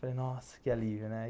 Falei, nossa, que alívio, né?